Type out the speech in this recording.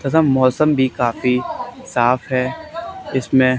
तथा मौसम भी काफी साफ है इसमें--